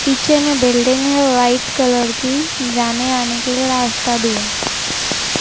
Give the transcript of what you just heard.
पीछे में बिल्डिंग हैं व्हाइट कलर की जाने आने के लिए रास्ता भी है।